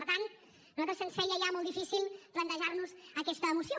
per tant a nosaltres se’ns feia ja molt difícil plantejar nos aquesta moció